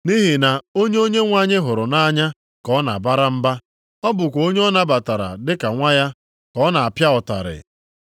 Nʼihi na onye Onyenwe anyị hụrụ nʼanya ka ọ na-abara mba. Ọ bụkwa onye ọ nabatara dị ka nwa ya, ka ọ na-apịa ụtarị.” + 12:6 \+xt Ilu 3:11,12\+xt*